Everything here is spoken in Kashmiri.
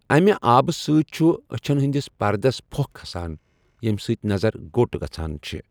اَمہِ آبہٕ سۭتۍ چھُ أچھَن ہندِس پردس پھۄ٘کھ كھَسان، ییٚمہِ سۭتۍ نظر گو٘ٹ گژھان چھے٘ ۔